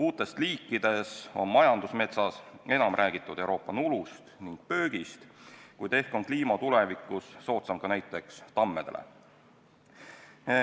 Uutest liikidest on majandusmetsa puhul enam räägitud Euroopa nulust ja pöögist, kuid ehk on kliima tulevikus soodsam ka näiteks tammedele.